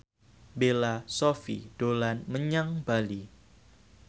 Bella Shofie dolan menyang Bali